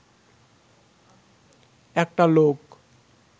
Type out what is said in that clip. একটা লোক